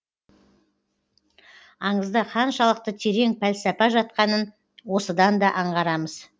аңызда қаншалықты терең пәлсапа жатқанын осыдан да аңғарамыз